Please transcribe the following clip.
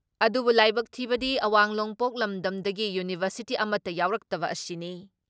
ꯑꯗꯨꯕꯨ ꯂꯥꯏꯕꯛ ꯊꯤꯕꯗꯤ ꯑꯋꯥꯡ ꯅꯣꯡꯄꯣꯛ ꯂꯝꯗꯝꯗꯒꯤ ꯌꯨꯅꯤꯚꯔꯁꯤꯇꯤ ꯑꯃꯠꯇ ꯌꯥꯎꯔꯛꯇꯕ ꯑꯁꯤꯅꯤ ꯫